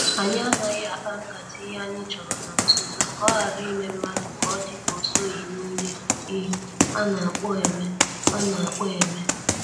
Anyị anaghị akpa nkata ihe anyị chọrọ na-nzuzo ka ohara ime mmadụ ka ọ dị ka osoghi n' ihe I ana kpo eme. ana kpo eme.